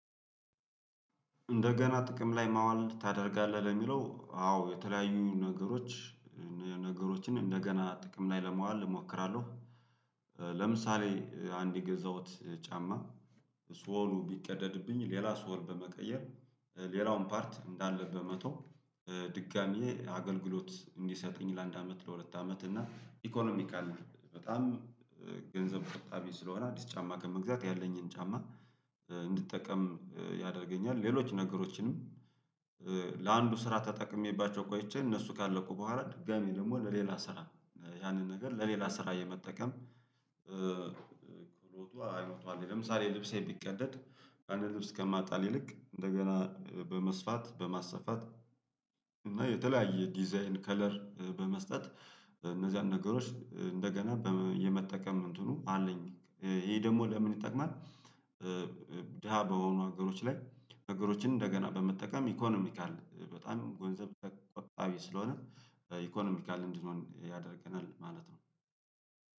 እንደገና ጥቅም ላይ ማዋል ታደርጋለህ ለሚለው አዎ የተለያዩ ነገሮች ነገሮችን እንደገና ጥቅም ላይ ለማዋል እሞክራለሁ። ለምሳሌ አንድ የገዛሁት ጫማ ሶሉ ቢቀደድብኝ ሌላ ሶል በመቀየር ሌላውን ፓርት እንዳለ በመተው ድጋሜ አገልግሎት እንዲሰጠኝ ለአንድ አመት ለሁለት አመት እና ኢኮኖሚካል በጣም ገንዘብ ቆጣቢ ስለሆነ አዲስ ጫማ ከመግዛት ያለኝን ጫማ እንድጠቀም ያደርገኛል። ሌሎች ነገሮችንም ለአንዱ ስራ ተጠቅሜባቸው ቆይቼ እነሱ ካለቁ በኋላ ድጋሜ ደግሞ ለሌላ ስራ ያንን ነገር ለሌላ ስራ የመጠቀም ክህሎቱ አይሎቱ አለኝ። ለምሳሌ ልብሴን ቢቀደድ አንድ ልብስ ከመጣል ይልቅ እንደገና በመስፋት በማሰፋት እና የተለያየ ዲዛይን ከለር በመስጠት እነዚያን ነገሮች እንደገና የመጠቀም እንትኑ አለኝ። ይሄ ደግሞ ለምን ይጠቅማል? ድሃ በሆኑ ሀገሮች ላይ ነገሮችን እንደገና በመጠቀም ኢኮኖሚካል በጣም ገንዘብ ቆጣቢ ስለሆነ ኢኮኖሚካል እንድንሆን ያደርገናል ማለት ነው።